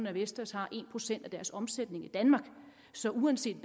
at vestas har en procent af deres omsætning i danmark så uanset